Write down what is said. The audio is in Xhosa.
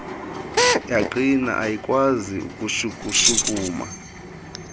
yaqina ayikwazi ukushukushukuma